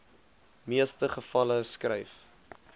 meeste gevalle skryf